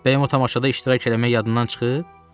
Bəs o tamaşada iştirak eləməyin yadındadır?